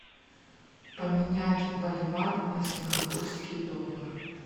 поменять боливар на сингапурские доллары